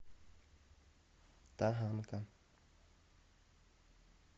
таганка